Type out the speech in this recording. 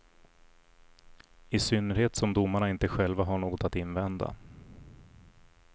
I synnerhet som domarna inte själva har något att invända.